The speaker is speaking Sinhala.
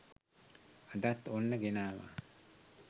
අදත් ඔන්න ගෙනාවා